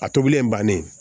A tobilen bannen